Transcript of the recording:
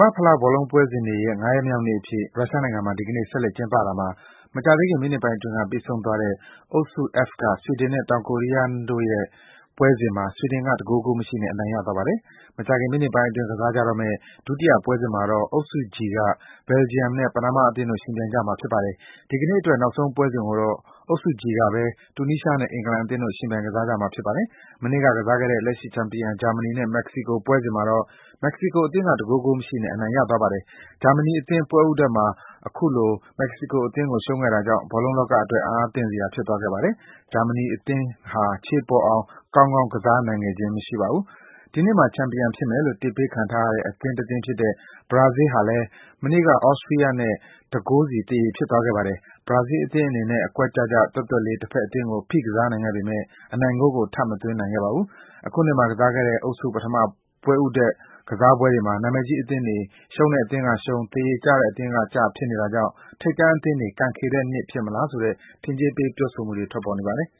ဘာ့ဖလား ဘောလုံးပွဲစဉ်တွေရဲ့ ၅ ရက်မြောက်နေ့အဖြစ် ရုရှားနိုင်ငံမှာ ဒီကနေ့ ဆက်လက် ကျင်းပတာမှာ မကြာသေးခင် မိနစ်ပိုင်းအတွင်းက ပြီးဆုံးသွားတဲ့ အုပ်စု (F) က ဆွီဒင်နဲ့ တောင်ကိုရီးယားနိုင်ငံတို့ရဲ့ ပွဲစဉ်မှာ ဆွီဒင်က ၁ ဂိုး ဂိုးမရှိနဲ့ အနိုင်ရသွားပါတယ်။ မကြာခင် မိနစ်ပိုင်းအတွင်း ကစားမယ့် ဒုတိယ ပွဲစဉ်မှာတော့ အုပ်စု (G) က ဘယ်ဂျီယံနဲ့ ပနားမားအသင်းတို့ ယှဉ်ပြိုင်ကြမှာပါ။ ဒီကနေ့အတွက် နောက်ဆုံးပွဲစဉ်ကိုတော့ အုပ်စု (G) ကဘဲ တူနီးရှားနဲ့ အင်္ဂလန်အသင်းတို့ ယှဉ်ပြိုင်ကစားကြမှာ ဖြစ်ပါတယ်။ မနေ့က ကစားတဲ့ လက်ရှိချန်ပီယံ ဂျာမနီနဲ့ မက္ကဆီကိုပွဲစဉ်မှာတော့ မက္ကဆီကိုအသင်းက ၁ ဂိုး ဂိုးမရှိနဲ့ အနိုင်ရသွားပါတယ်။ ဂျာမနီအသင်း ပွဲဦးထွက်မှာ အခုလို မက္ကဆီကိုအသင်းကို ရှုံးခဲ့တာကြောင့် ဘောလုံးလောကအတွက် အံ့အားသင့်စရာ ဖြစ်သွားခဲ့ပါတယ်။ ဂျာမနီအသင်း ခြေပေါ်အောင် ကောင်းကောင်း ကစားနိုင်ခဲ့ခြင်း မရှိပါဘူး။ ဒီနှစ်မှာ ချန်ပီယံဖြစ်မယ်လို့ တစ်ပေးခံထားရတဲ့ အသင်းတသင်းဖြစ်တဲ့ ဘရာဇီးအသင်းဟာလည်း မနေ့က ဆွစ်ဇာလန်အသင်းနဲ့ ၁ ဂိုးစီ သရေဖြစ်သွားခဲ့ပါတယ်။ ဘရာဇီးအသင်းအနေနဲ့ အကွက်ကျကျ၊ သွက်သွက်လေး တဖက်အသင်းကို ဖိကစားနိုင်ခဲ့ပေမယ့် အနိုင်ဂိုးကို ထပ်မသွင်းနိုင်ခဲ့ပါဘူး။ အခုနှစ်မှာကစားခဲ့တဲ့ အုပ်စု ပထမ ပွဲဦးထွက် ကစားပွဲတွေမှာ နာမည်ကြီးအသင်းတွေ ရှုံးတဲ့အသင်းကရှုံး၊ သရေကျတဲ့အသင်းကကျ ဖြစ်နေတာကြောင့် ထိပ်တန်းအသင်းတွေ ကံခေတဲ့နှစ်ဖြစ်မလားဆိုတဲ့ ထင်ကြေးပေး ပြောဆိုမှုတွေ ထွက်ပေါ်နေပါတယ်